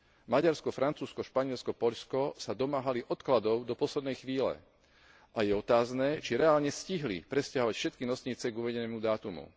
Maďarsko, Francúzsko, Španielsko, Poľsko sa domáhali odkladov do poslednej chvíle a je otázne, či reálne stihli presťahovať všetky nosnice k uvedenému dátumu.